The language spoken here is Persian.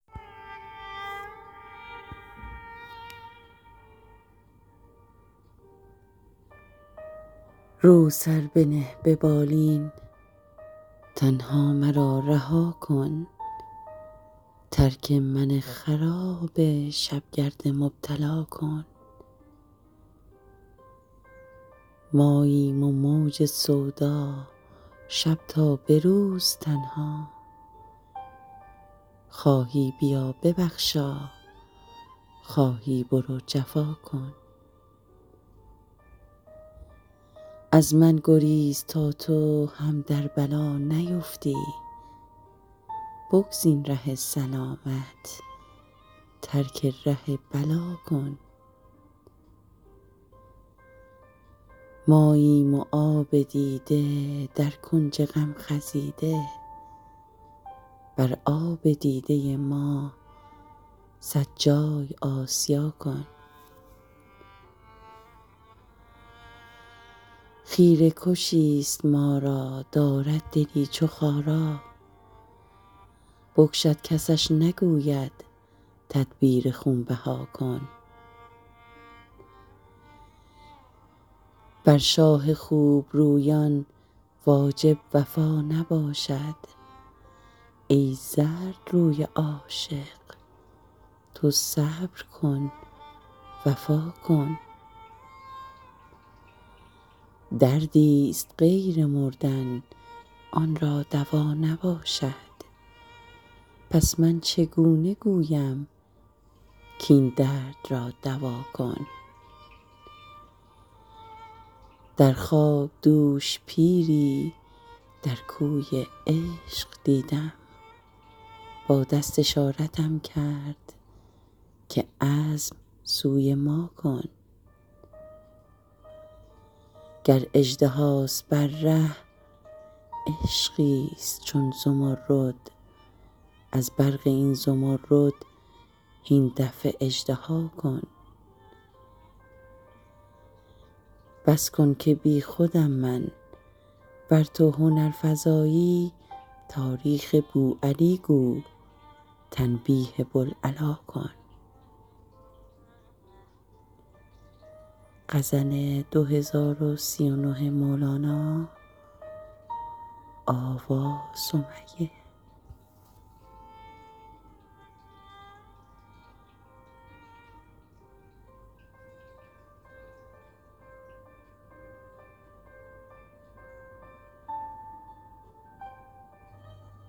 رو سر بنه به بالین تنها مرا رها کن ترک من خراب شب گرد مبتلا کن ماییم و موج سودا شب تا به روز تنها خواهی بیا ببخشا خواهی برو جفا کن از من گریز تا تو هم در بلا نیفتی بگزین ره سلامت ترک ره بلا کن ماییم و آب دیده در کنج غم خزیده بر آب دیده ما صد جای آسیا کن خیره کشی ست ما را دارد دلی چو خارا بکشد کسش نگوید تدبیر خون بها کن بر شاه خوب رویان واجب وفا نباشد ای زردروی عاشق تو صبر کن وفا کن دردی ست غیر مردن آن را دوا نباشد پس من چگونه گویم کاین درد را دوا کن در خواب دوش پیری در کوی عشق دیدم با دست اشارتم کرد که عزم سوی ما کن گر اژدهاست بر ره عشقی ست چون زمرد از برق این زمرد هین دفع اژدها کن بس کن که بی خودم من ور تو هنرفزایی تاریخ بوعلی گو تنبیه بوالعلا کن